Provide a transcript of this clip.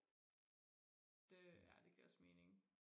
det ja det giver også mening